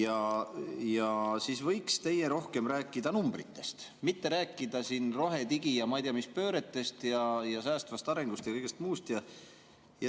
Arvan, et te võiks meile rohkem rääkida numbritest, mitte rohe-, digi- ja ma ei tea mis pööretest ja säästvast arengust ja kõigest muust.